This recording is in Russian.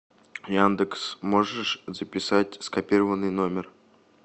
яндекс можешь записать скопированный номер